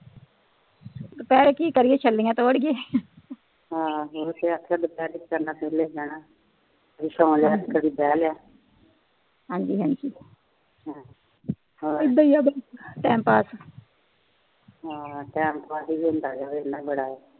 ਹਾ ਸੋ ਲਿਆ ਕਦਿ ਬਹਿ ਲਿਆ ਹਾਜੀ ਹਾਜੀ ਹਮ ਹੋਰ ਇਦਾ ਹੀ ਆ ਟੈਮ ਪਾਸ ਹਾ ਟੈਮ ਪਾਸ ਹੀ ਹੁੰਦਾ